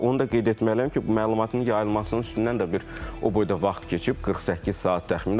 Onu da qeyd etməliyəm ki, məlumatın yayılmasının üstündən də bir o boyda vaxt keçib 48 saat təxminən.